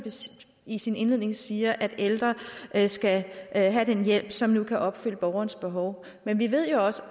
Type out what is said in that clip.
i sin indledning siger at ældre skal have den hjælp som nu kan opfylde borgerens behov men vi ved jo også